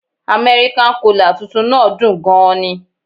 American cola' tuntun náà dùn ún gan ni